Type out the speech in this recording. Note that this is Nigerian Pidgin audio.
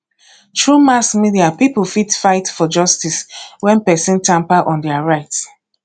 through mass media pipo fit fight for justice when persin tamper on their rights